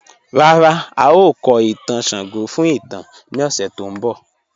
Ràrá, ào kò ìtàn Ṣàngó fún ìtàn ni òṣè tó n bọ̀.